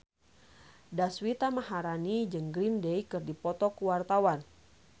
Deswita Maharani jeung Green Day keur dipoto ku wartawan